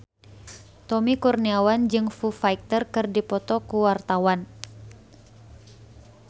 Tommy Kurniawan jeung Foo Fighter keur dipoto ku wartawan